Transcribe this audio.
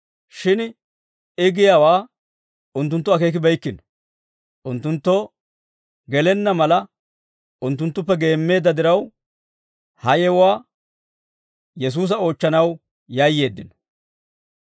Shin I giyaawaa unttunttu akeekibeykkino. Unttunttoo gelenna mala unttunttuppe geemmeedda diraw, ha yewuwaa Yesuusa oochchanaw yayyeeddino.